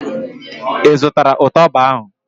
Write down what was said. ị zụtala ụtaba ahụ?